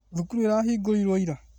Thukuru ĩrahingirwo ira